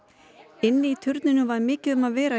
inni í turninum var mikið um að vera